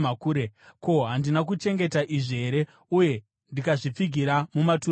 “Ko, handina kuchengeta izvi here, uye ndikazvipfigira mumatura angu?